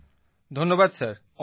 প্রদীপজি ধন্যবাদ স্যার